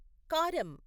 కారం